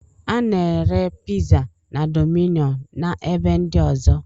A na-ere piza na domino na ebe ndi ọzọ